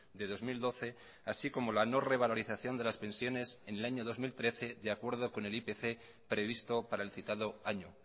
de dos mil doce así como la no revalorización de las pensiones en el año dos mil trece de acuerdo con el ipc previsto para el citado año